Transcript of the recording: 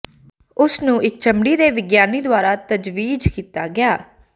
ਉਸ ਨੂੰ ਇਕ ਚਮੜੀ ਦੇ ਵਿਗਿਆਨੀ ਦੁਆਰਾ ਤਜਵੀਜ਼ ਕੀਤਾ ਗਿਆ ਹੈ